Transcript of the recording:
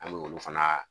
An m'olu fana